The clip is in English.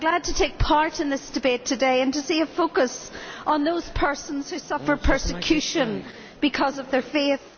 I am glad to take part in this debate today and to see a focus on those persons who suffer persecution because of their faith.